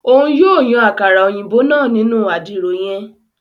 Òun yóò Yàn àkàrà òyìnbó náà nínu àdìro yen